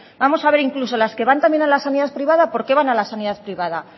vamos a ver incluso las que van también a la sanidad privada por qué van a la sanidad privada